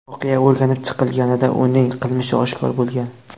Voqea o‘rganib chiqilganida, uning qilmishi oshkor bo‘lgan.